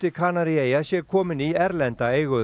Kanaríeyja sé kominn í erlenda eigu